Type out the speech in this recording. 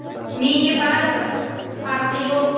Menga baribir, farqi yo‘q.